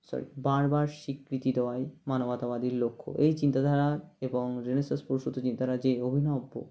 sorry বারবার স্বিকৃতি দেওয়াই মানবতাবাদের লক্ষ্য এই চিন্তাধারা এবং Renaissance প্রসুত নিয়ে তারা যে অভিনব্য